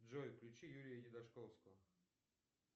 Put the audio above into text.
джой включи юрия едашковского